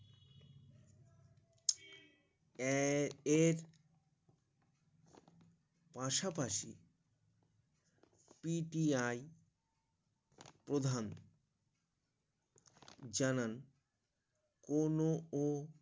এ এর পাশাপাশি P T I প্রধান জানান কোনো ও